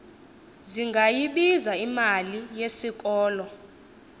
zingayibiza imali yesikolo